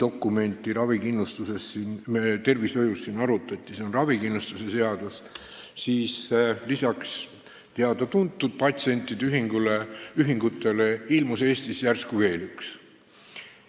Kui siin arutati meie tervishoiu põhidokumenti, ravikindlustuse seadust, siis ilmus lisaks teada-tuntud patsientide ühingutele Eestis järsku välja veel üks.